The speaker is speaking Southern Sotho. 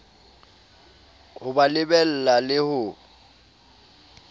ho ba lebella le ho